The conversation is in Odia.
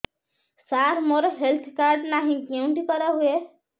ସାର ମୋର ହେଲ୍ଥ କାର୍ଡ ନାହିଁ କେଉଁଠି କରା ହୁଏ